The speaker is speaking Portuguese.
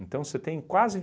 Então você tem quase